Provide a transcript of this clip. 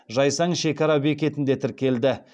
жайсаң шекара бекетінде тіркелді